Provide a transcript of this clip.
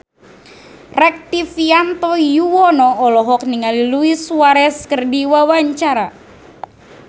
Rektivianto Yoewono olohok ningali Luis Suarez keur diwawancara